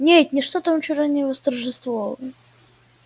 нет ничто там вчера не восторжествовало